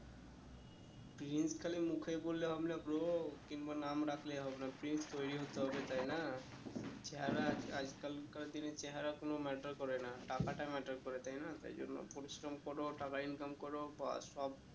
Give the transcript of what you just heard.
Prince খালি মুখেই বললে হবে না bro কিংবা নাম ডাকলে হবে না প্রিন্স তৈরী হতে হবে তাই না চেহারা আজকাল কার দিনে চেহারা কোনো matter করে না টাকাটা matter করে তাই না তাই জন্য পরিশ্রম করো টাকা income করো বাস সব